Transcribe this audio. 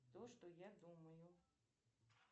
то что я думаю